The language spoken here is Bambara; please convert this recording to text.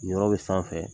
Nin yɔrɔ bɛ sanfɛ